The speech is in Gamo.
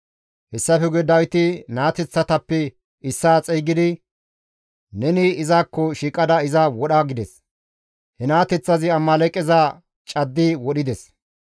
Hessafe guye Dawiti naateththatappe issaa xeygidi, «Neni izakko shiiqada iza wodha» gides. He naateththazi Amaaleeqeza caddi wodhides.